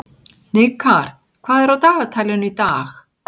Hnikar, hvað er á dagatalinu í dag?